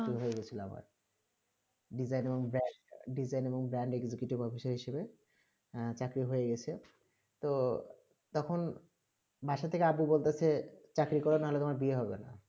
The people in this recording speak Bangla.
design এবং brand executive officer হিসাবে আহ চাকরি হয়ে গেছে তো তখন বাসা থেকে আবু বলতেছে চাকরি কর নাহলে তোমার বিয়ে হবে না